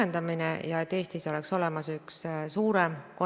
EAS-i, mis tegeleb ettevõtjatega, toetuste maht on järgmisel aastal suurem, kui oli 2019. aastal.